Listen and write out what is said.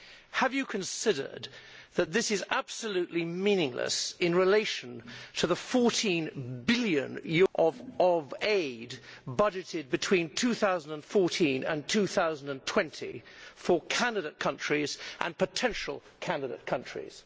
Have you considered that this is absolutely meaningless in relation to the EUR 14 billion of aid budgeted between 2014 and 2020 for candidate countries and potential candidate countries?